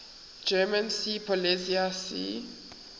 german seepolizei sea